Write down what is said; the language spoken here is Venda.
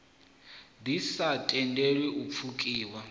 ḓi sa tendeli u pfukiwa